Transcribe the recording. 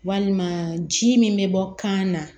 Walima ji min bɛ bɔ kan na